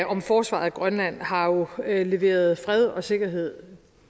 om forsvaret af grønland har jo leveret fred og sikkerhed